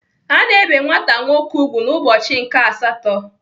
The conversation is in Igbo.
Ana ebe nwata nwoke ùgwù n'ụbọchị nke asatọ.